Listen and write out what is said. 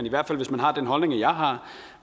i hvert fald hvis man har den holdning jeg har